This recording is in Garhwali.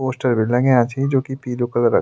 पोस्टर भी लग्याँ छि जोकि पीलू कलर क --